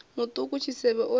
muṱuku tshisevhe o ri u